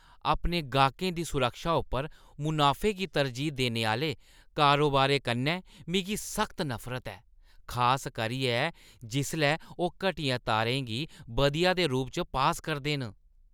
अपने गाह्कें दी सुरक्षा उप्पर मुनाफे गी तरजीह् देने आह्‌ले कारोबारें कन्नै मिगी सख्त नफरत ऐ, खास करियै जिसलै ओह् घटिया तारें गी बधिया दे रूप च पास करदे न।